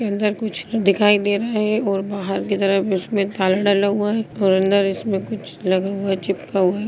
अंदर कुछ दिखाई दे रहे है और बाहर के तरफ उसमें ताला डले हुए हैं और अंदर इसमें कुछ लगे हुए है चिपके हुए है।